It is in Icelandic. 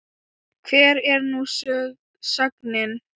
Hver er nú sögnin?